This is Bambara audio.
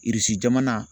jamana